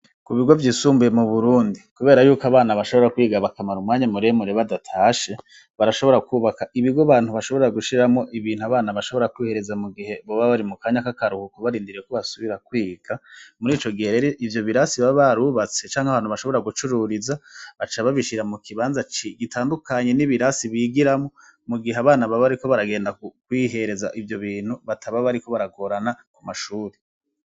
Ku bigo vyisumbuye mu burundi, kubera yuko abana bashobora kwigabakamara umwanya muremure badatashe barashobora kwubaka ibigo bantu bashobora gushiramwo ibintu abana bashobora kwihereza mu gihe boba bari mu kanya k'akarukuku barindiriye ko basubira kwiga muri co gihe reri ivyo birasi baba barubatse canke abantu bashobora gucururiza aca babishira mu kibanza gitandukanae hanyi n'ibirasi bigiramo mu gihe abana babariko baragenda kukwihereza ivyo bintu bataba bariko baragorana ku mashuri.